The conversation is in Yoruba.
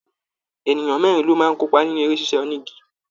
Ènìyàn mẹrin lo máa n kópa nínú eré sisa onígí.